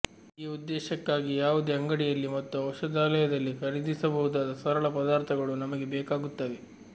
ಈ ಉದ್ದೇಶಕ್ಕಾಗಿ ಯಾವುದೇ ಅಂಗಡಿಯಲ್ಲಿ ಮತ್ತು ಔಷಧಾಲಯದಲ್ಲಿ ಖರೀದಿಸಬಹುದಾದ ಸರಳ ಪದಾರ್ಥಗಳು ನಮಗೆ ಬೇಕಾಗುತ್ತವೆ